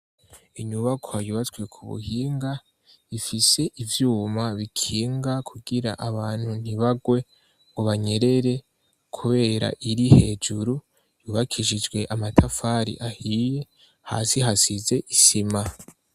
Inyubako yubatswe ku buhinga, ifise ivyuma bikinga kugira abantu ntibagwe ngo banyerere kubera iri hejuru. Yubakishijwe amatafari ahiye, hasi hasize isima.